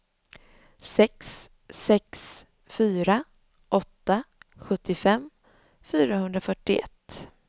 sex sex fyra åtta sjuttiofem fyrahundrafyrtioett